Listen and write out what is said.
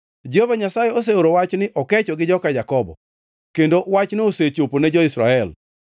Jehova Nyasaye oseoro wach ni okecho gi joka Jakobo, kendo wachno osechopo ne jo-Israel.